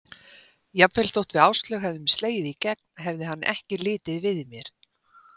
Jafnvel þótt við Áslaug hefðum slegið í gegn hefði hann ekki litið við mér.